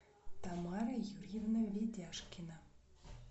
тамара юрьевна ведяшкина